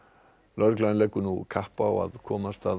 lögregla leggur nú kapp á að komast að